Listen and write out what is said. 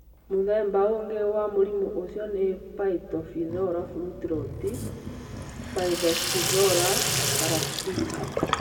Mũthemba ũngĩ wa mũrimũ ũcio nĩ Phytophthora fruit rot (Phythophthora parasitica)